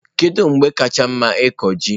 Kedu mgbe kacha mma ịkụ ji?